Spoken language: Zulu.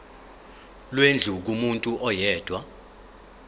lwendlu kumuntu oyedwa